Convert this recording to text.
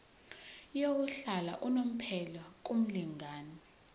yokuhlala unomphela kumlingani